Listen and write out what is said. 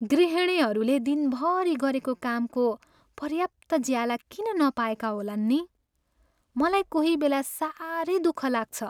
गृहिणीहरूले दिनभरि गरेको कामको पर्याप्त ज्याला किन नपाएका होलान् नि? मलाई कोहीबेला साह्रै दुःख लाग्छ।